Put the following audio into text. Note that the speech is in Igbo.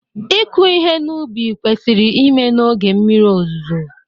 ịkụ ihe n'ubi kwesịrị ime na oge mmiri ozuzo